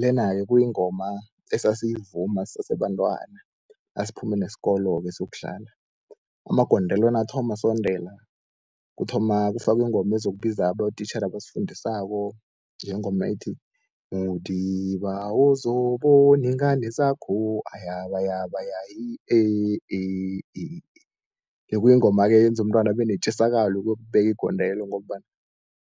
Lena-ke kuyingoma esasiyivuma sisese bantwana nasiphume nesikolo-ke siyokudlala, amagondelo nakathoma asondela kuthoma kufakwe ingoma ezokubiza abotitjhere abasifundisako ngengoma ethi, Modiba wozobona ingane zakho ayabayabaya i eh eh eh. Bekuyingoma-ke eyenza umntwana abe netjisakalo yokuyokubeka igondelo, ngombana